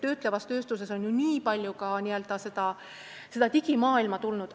Töötlevasse tööstusesse on palju ka n-ö digimaailma tulnud.